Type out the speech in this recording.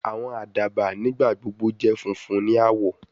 Awọn adaba nigbagbogbo jẹ funfun ni awọ